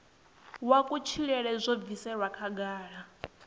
wa kutshilele zwo bviselwa khagala